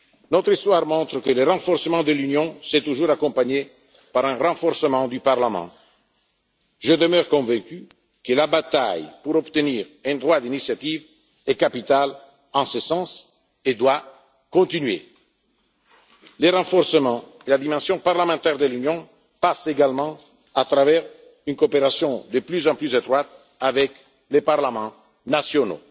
jamais. Notre histoire montre que le renforcement de l'Union s'est toujours accompagné d'un renforcement du Parlement. Je demeure convaincu que la bataille pour obtenir un droit d'initiative est capitale en ce sens et doit continuer. Le renforcement de la dimension parlementaire de l'Union passe également par une coopération de plus en plus étroite avec les parlements nationaux.